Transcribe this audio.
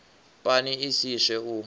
pani i si swe u